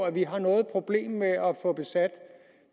at vi har noget problem med at få besat